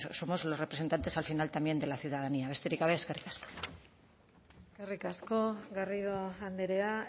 somos los representantes al final también de la ciudadanía besterik gabe eskerrik asko eskerrik asko garrido andrea